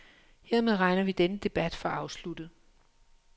Hermed regner vi denne debat for afsluttet.